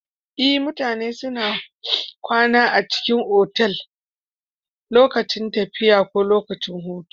Ee mutane suna kwana a otal ko dai lokacin tafiya ko lokacin hutu